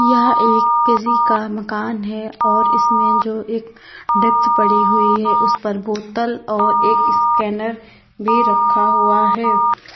यह एक किसी का मकान है और इसमें जो एक डेस्क पड़ी हुई है उस पर बोतल और एक स्कैनर भी रखा हुआ है।